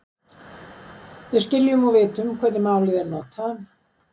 Við skiljum og vitum hvernig málið er notað.